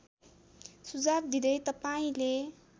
सुझाव दिँदै तपाईँले